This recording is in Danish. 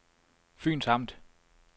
Fyns Amt